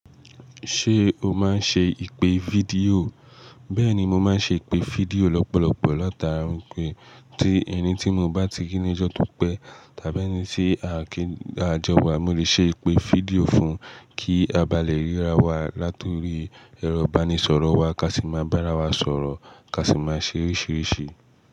Ṣé o máa ń ṣe ìpè fídíò? Bẹ́ẹ̀ni, mo máa ń ṣe ìpè fídíò lọ́pọ̀lọpọ̀ lọ́ta. Nǹkan tí ẹni tí mo bá ti rí ní ọjọ́ tó pẹ́ tàbí ẹni tí a kí àjọ wa, mo lè ṣe ìpè fídíò fún kí a bá lè ríra wa, látọ̀rí ẹrọ ìbánisọ̀rọ̀ wa ká sì máa bá ara wa sọ̀rọ̀, ká sì máa ṣe oríṣìíríṣìí.